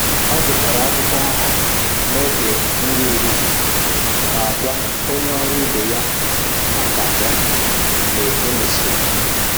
Ọ gụchara akwụkwọ ahụ n'oge nri ehihie ma gwa onye ọrụ ibe ya maka ya mgbe e mesịrị